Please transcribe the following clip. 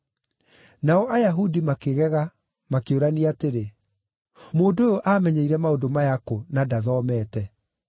Nao Ayahudi makĩgega, makĩũrania atĩrĩ, “Mũndũ ũyũ aamenyeire maũndũ maya kũ, na ndathomete?”